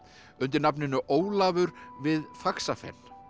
undir nafninu Ólafur við Faxafen